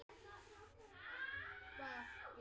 Þér verður gott af þessu